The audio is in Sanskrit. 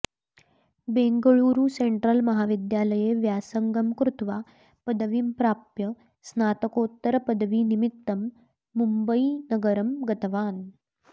बेङ्गळूरु सेन्ट्रल् महाविद्यालये व्यासङगं कृत्वा पदवीं प्राप्य स्नातकोत्तरपदवीनिम्मित्तं मुम्बयीनगरं गतवान्